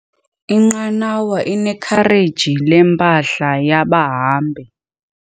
Inqanawa inekhareji lempahla yabahambi.